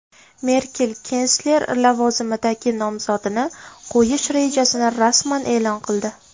Merkel kansler lavozimiga nomzodini qo‘yish rejasini rasman e’lon qildi.